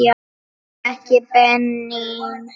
Ekki Benín.